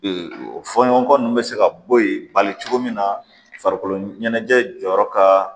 fɔɲɔgɔnkɔ ninnu bɛ se ka bɔ yen bali cogo min na farikolo ɲɛnajɛ jɔyɔrɔ ka